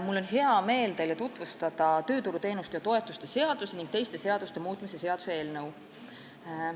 Mul on hea meel tutvustada teile tööturuteenuste ja -toetuste seaduse ning teiste seaduste muutmise seaduse eelnõu.